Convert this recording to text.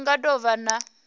hu nga do vha na